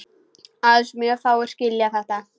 Aðeins mjög fáir skilja þetta.